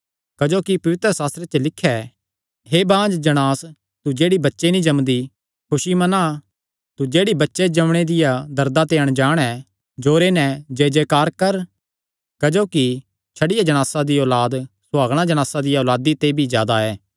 क्जोकि पवित्रशास्त्रे च लिख्या ऐ हे बाँझ जणांस तू जेह्ड़ी बच्चे नीं जम्मदी खुसी मना तू जेह्ड़ी बच्चे जम्मणे दियां दर्दां ते अणजाण ऐ जोरे नैं जयजयकार कर क्जोकि छड्डियो जणासा दी औलाद सुहागणा जणासा दिया औलादी ते भी जादा ऐ